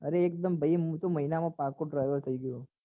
અરે એક દમ ભાઈ હું તો મહિના માં પાકો driver થયી ગયો છું